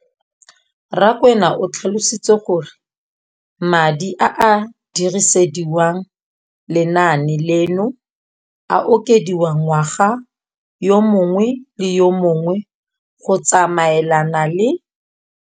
Rakwena o tlhalositse gore madi a a dirisediwang lenaane leno a okediwa ngwaga yo mongwe le yo mongwe go tsamaelana le